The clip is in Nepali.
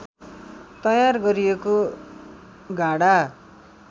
तयार गरिएको गाढा